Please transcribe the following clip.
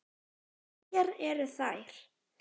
Hverjar eru þær?